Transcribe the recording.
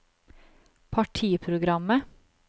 partiprogrammet